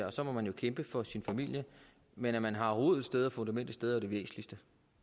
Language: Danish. og så må man jo kæmpe for sin familie men at man har rod et sted og fundament et sted er det væsentligste